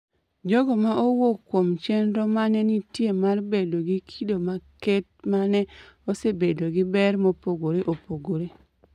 jogo ma owuok kuom chenro ma ne nitie mar bedo gi kido maket ma ne osebedo gi ber mopogore opogore